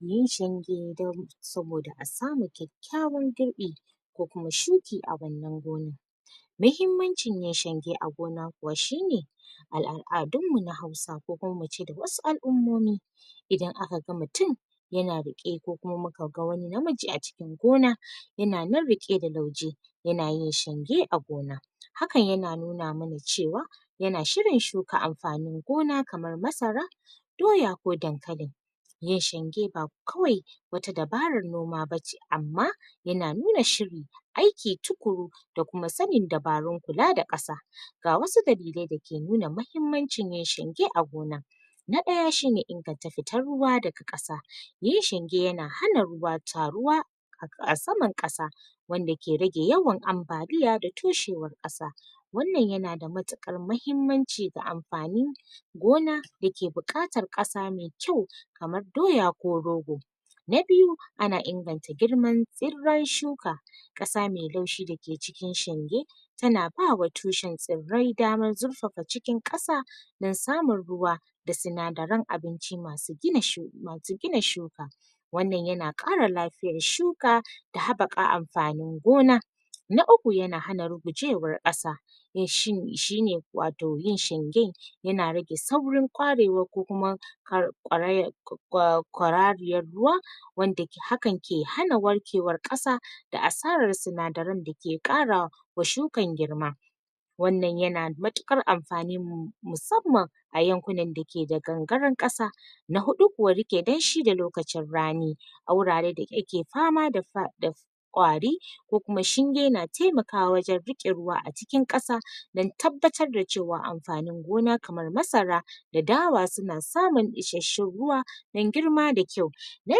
Yin shinge dan saboda a samu kyakyawar girbi ko kuma shuki a wannan gonan mahimmancin ya shenge a gona kuwa shi ne aladun mu na hausa ko kuma mu ce da wasu alummomi idan aka gan mutum ya na riƙe ko kuma mu ka gan wani na miji a cikin gona ya na nan riƙe da lauje, ya na yin shinge a gona hakan ya na nuna mana cewa ya na shirin shuka amfanin gona kamar masara doya, ko dankalin ya shenge ba kawai wata dabarar noma ba ce amma ya na nuna shiri aiki tukuru da kuma tsannin dabaru kula da kasa ga wasu dalilai da ke nuna mahimmancin ya shenge a gona. Na daya shi ne ingatta fitar ruwa da ga kasa yin shenge ya na hana ruwa taruwa a, a saman kasa wanda ke rage yawar ambaliya da tushewar kasa wannan ya na da matakar mahimmanci da amfani gona da ke bukatar kasa mai kyau kamar doya ko rogo na biyu ana ingatta girmar tsirar shuka kasa mai laushi da ke cikin shenge ta na bawa tushin tsirai damar zurfafa cikin kasa dan samun ruwa da tsinadarin abinci masu gina shu masu gina shuka wannan ya na ƙara lafiyar shuka da habaka amfanin gona na uku ya na hana rugujewar kasa shi ne wato yin shengen ya na rage saurin ƙwarewa ko kuma kwa ƙwaraya kwa kwa kwarariyar ruwa wanda ke, hakan ke hana warkewar kasa da asarar tsinadarin da ke ƙarawa wa shukar girma wannan ya na matukar amfani mu musamman ayankunan da ke da gangarin kasa. Na hudu kuwa rike dan shi da lokacin rani a wurare da ya ke fama da kwari ko kuma shinge na taimakawa wajen rike ruwa a cikin kasa dan tabattar da cewa amfanin gona kamar masara da dawa suna samun isheshun ruwa dan girma da kyau Na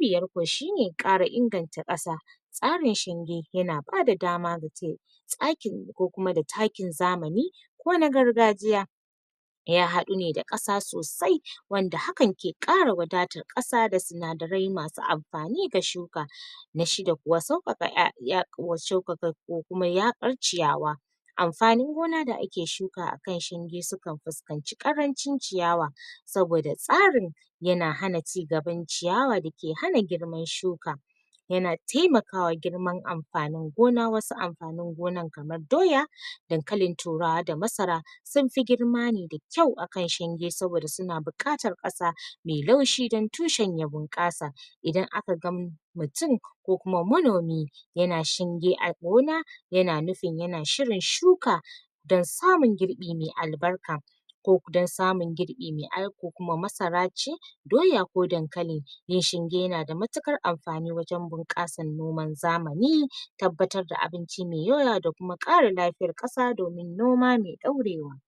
biyar ko shi ne, kara inganta kasa tsarin shinge ya na ba da dama tsakin ko kuma da takkin zamani ko na gargajiya ya haddu ne da kasa sosai wanda hakan ƙe kara wadata kasa da tsinadarai masu amfani ga shuka. Na shida kuwa saukaka ma shaukaka ko kuma ya bar ciyawa amfanin gona da ake shuka a kan shinge su kan fuskanci ƙarancin ciyawa saboda tsarin ya na hana cigaban ciyawa da ke hana girman shuka ya na taimakawa girman amfanin gona, wasu amfanin gonan kamar doya, dankalin turawa da masara sun fi girma ne da kyau a kan shinge saboda su na bukatar kasa mai laushi dan tushin ya bun kasa idan a ka gan mutum ko kuma manomi ya na shinge a gona ya na nufin ya na shirin shuka dan samun girbi mai albarka ko dan samun girbi mai alko kuma masara ce doya ko dankali mai shinge ya na da matukar amfani wajen bun kasar noman zamani tabbatar da abinci mai da kuma ƙara lafiyar kasa domin noma mai daurewa.